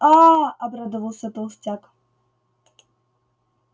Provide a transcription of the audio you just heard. а обрадовался толстяк